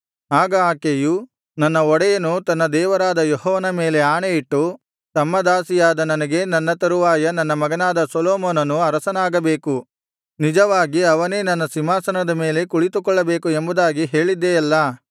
ಆಗ ಆಕೆಯು ನನ್ನ ಒಡೆಯನು ತನ್ನ ದೇವರಾದ ಯೆಹೋವನ ಮೇಲೆ ಆಣೆಯಿಟ್ಟು ತಮ್ಮ ದಾಸಿಯಾದ ನನಗೆ ನನ್ನ ತರುವಾಯ ನನ್ನ ಮಗನಾದ ಸೊಲೊಮೋನನು ಅರಸನಾಗಬೇಕು ನಿಜವಾಗಿ ಅವನೇ ನನ್ನ ಸಿಂಹಾಸನದ ಮೇಲೆ ಕುಳಿತುಕೊಳ್ಳಬೇಕು ಎಂಬುದಾಗಿ ಹೇಳಿದ್ದೆಯಲ್ಲಾ